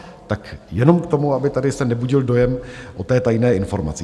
Tak jenom k tomu, aby se tady nebudil dojem o té tajné informaci.